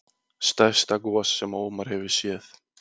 Stærsta gos sem Ómar hefur séð